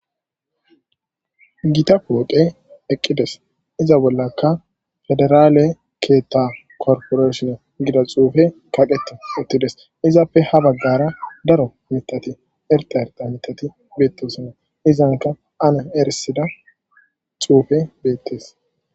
Gita pooqe eqqides iza bollaka federaale keetha korporeshin gida xuufe kaqete uttides izappe ha baggara daro mitati erta erda mitati beettosonna izanka ane erisida xuufe beettes